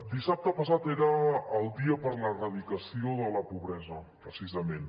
dissabte passat era el dia per a l’erradicació de la pobresa precisament